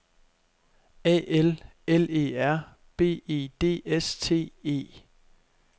A L L E R B E D S T E